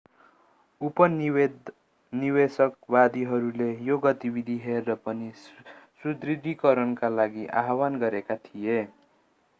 उपनिवेशवादीहरूले यो गतिविधि हेरेर पनि सुदृढीकरणका लागि आह्वान गरेका थिए